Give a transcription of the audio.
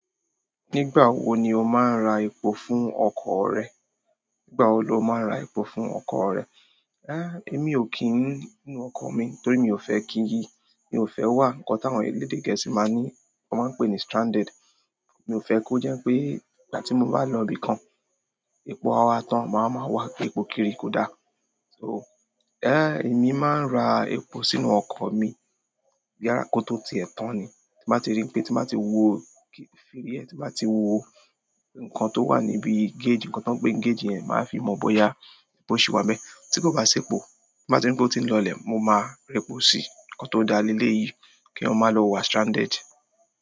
Nígbà wo ni o máa ń ra epo fún ọkọ̀ rẹ? Nígbà wo lo máa ń ra epo fún ọkọ̀ rẹ? É mi ò kí ń nú ọkọ̀ mi torí mi ò fẹ́ kí yi, mi ò fẹ́ wà nǹkan tí àwọn elédè gẹ̀ẹ́sì máa ní, wọ́n máa pè ní stranded. Mi ò fẹ́ kó jẹ́ pé ìgbà tí mo bá lọ ibìkan, epo a tán máa ma wà pé epo kiri kò dá. So, é mi máa ń ra epo sínú ọkọ̀ mi yára kó tó tiẹ̀ tán ni. Tí n bá ti rí pé, tí n ba ti wo kí. Fíll e. Tí n bá ti wo nǹkan tó wà níbi gauge, nǹkan tó ń pe gauge yẹn, màá fi mọ̀ bóyá epo ṣì wà n bẹ́ẹ̀. Tí kò bá sí epo, tí mo bá ti rí pé ó ti ń lọ lè, mo máa rẹ́po sí. Nkan to da leleyii, ki eyan maa lo wa stranded.